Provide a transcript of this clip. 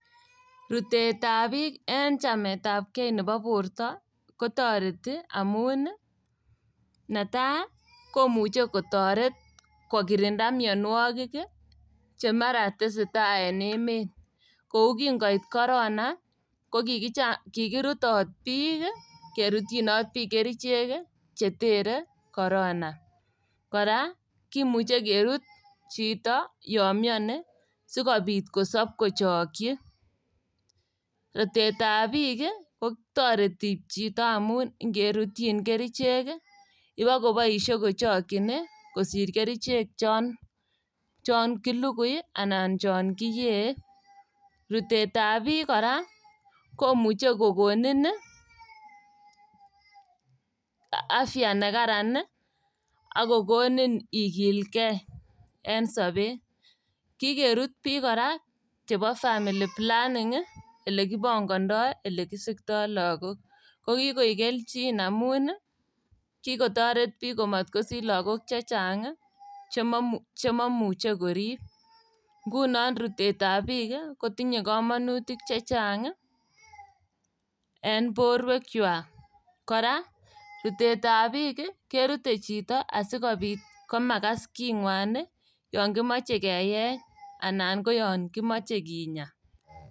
Rutetab biik en chametapgei nebo borto ii kotoreti amun ii, netai komuche kotoret kokirinda mionwogik ii che mara tesetai en emet. Kou kingoit korona kokicha kikirutot biik ii kerutyinot kerichek chetere korona. Kora kimuche kerut chito yon mioni sikobit kosob kochokyi. Rutetab biik kotoreti chito amun ngerutyin kerichek ibokoboisie kochokyin ii kosir kerichek chon chon kilukui ana chon kiyee. Rutetab biik kora komuche kokonin afya nekararan ii ak kokonin ikilkei en sobet. Kikerut biik kora chebo family planning ii, ilekipongondoi ilekisikto logok. Kokikoik kelcin amun kikotoret biik komotkosich logok chechang' ii chemomuche korib. Ngunon rutetab biik kotinye komonutik chechang' ii en borwekwak, kora rutetab biik ii, kerute chito asimakas king'wan ii yon kimoche keyech anan koyon kimoche kinya.